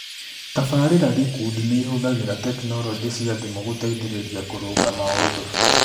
Tabarĩra gĩkundi nĩ ĩhũthagĩra tekinolonjĩ cia thimũ gũteithĩrĩria kũrũnga maũndũ.